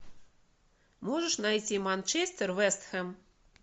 можешь найти манчестер вест хэм